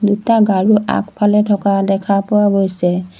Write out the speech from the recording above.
দুটা গাৰু আগফালে থকা দেখা পোৱা গৈছে।